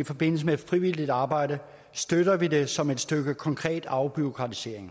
i forbindelse med frivilligt arbejde støtter vi det som et stykke konkret afbureaukratisering